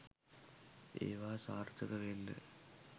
ඒව සාර්ථක වෙන්න